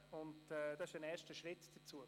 Das ist ein erster Schritt dazu.